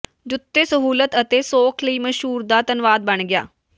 ਜੁੱਤੇ ਸਹੂਲਤ ਅਤੇ ਸੌਖ ਲਈ ਮਸ਼ਹੂਰ ਦਾ ਧੰਨਵਾਦ ਬਣ ਗਿਆ